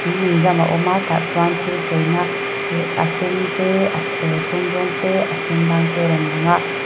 hrui inzam a awm a tah chuan thil cheina se a sen te a serthlum rawng te a sen dang te a rawn lang a.